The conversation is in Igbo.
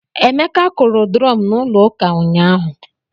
Emeka kụrụ drum n'ụlọ ụka nyahu